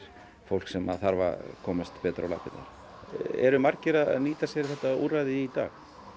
fólk sem þarf að komast betur á lappirnar eru margir að nýta sér þetta úrræði í dag